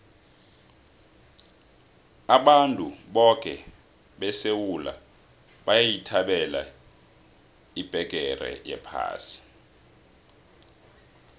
abantu boke besewula bayithabela ibheqere yephasi